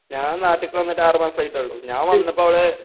ഞാൻ നാട്ടിക്ക് വന്നിട്ട് ആറ് മാസായിട്ടൊള്ളു ഞാൻ വന്നപ്പോ അവിടേ.